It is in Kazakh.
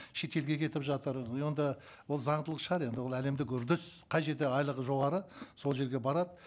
шетелге кетіп жатыр и онда ол заңдылық шығар енді ол әлемдік үрдіс қай жерде айлығы жоғары сол жерге барады